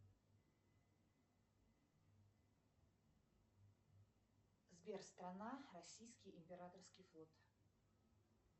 сбер страна российский императорский флот